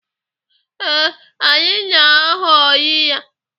Ee, anyị na-aghọrị ya.